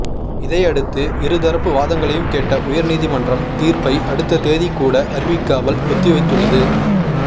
இதையடுத்து இரு தரப்பு வாதங்களையும் கேட்ட உயர்நீதிமன்றம் தீர்ப்பை அடுத்த தேதி கூட அறிவிக்காமல் ஒத்திவைத்துள்ளது